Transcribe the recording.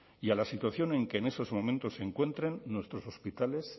y a la situación en que en estos momentos se encuentren nuestros hospitales